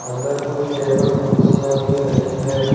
अंदर कुछ टेबल कुर्सियां भी रखी है।